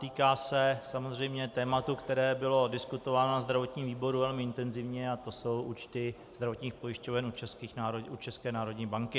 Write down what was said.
Týká se samozřejmě tématu, které bylo diskutováno na zdravotním výboru velmi intenzivně, a to jsou účty zdravotních pojišťoven u České národní banky.